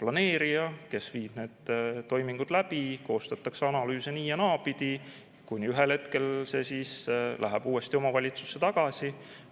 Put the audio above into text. planeerija, kes viib need toimingud läbi, koostatakse analüüse nii- ja naapidi, kuni ühel hetkel see siis läheb uuesti omavalitsusse tagasi.